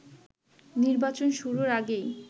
নির্বাচন শুরুর আগেই